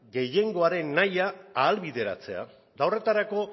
gehiengoaren nahia ahalbideratzea eta horretarako